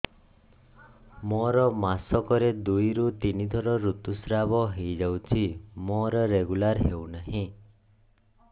ମୋର ମାସ କ ରେ ଦୁଇ ରୁ ତିନି ଥର ଋତୁଶ୍ରାବ ହେଇଯାଉଛି ମୋର ରେଗୁଲାର ହେଉନାହିଁ